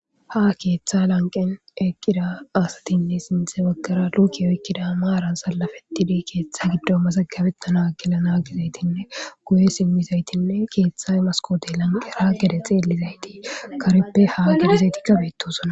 ha keeththa lanqen eqqira asatinne sinthe baggara luukiyoykkida maaran salafetide keeththe giddo masagabetana gelana gizaytinne guye simmizaytinne keeththa maskote lanqe ra gede xeelizayti kareppe ha gidazayti kabetosona